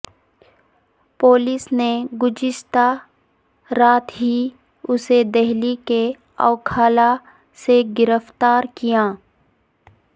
police نے گزشتہ رات ہی اسے دہلی کے اوکھلا سے گرفتار کیا